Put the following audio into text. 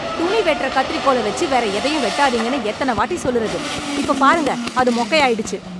துணி வெட்டுற கத்திரிக்கோல வெச்சு வேற எதையும் வெட்டாதீங்கன்னு எத்தன வாட்டி சொல்லுறது? இப்போ பாருங்க, அது மொக்கையாகிடுச்சு.